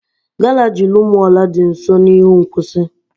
Garaji Rumuola dị nso n'ihu nkwụsị.